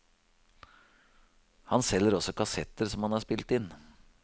Han selger også kassetter som han har spilt inn.